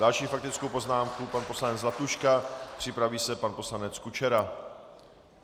Další faktickou poznámku pan poslanec Zlatuška, připraví se pan poslanec Kučera.